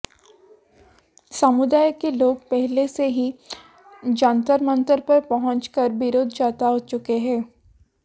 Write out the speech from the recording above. समुदाय के लोग पहले से ही जंतर मंतर पर पहुंच कर विरोध जता चुके हैं